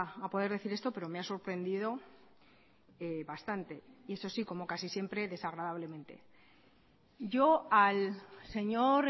a poder decir esto pero me ha sorprendido bastante y eso sí como casi siempre desagradablemente yo al señor